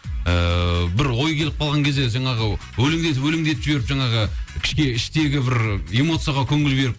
ыыы бір ой келіп қалған кезде жаңағы өлеңдетіп өлеңдетіп жіберіп жаңағы іштегі бір эмоцияға көңіл беріп